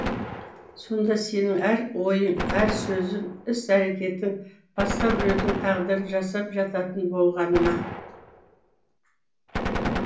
сонда сенің әр ойың әр сөзің іс әрекетің басқа біреудің тағдырын жасап жататын болғаны ма